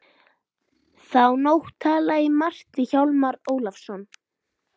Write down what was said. Þá nótt talaði ég margt við Hjálmar Ólafsson.